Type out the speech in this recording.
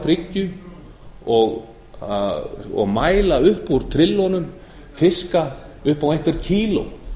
bryggju og mæla upp úr trillunum fiska upp á einhver kíló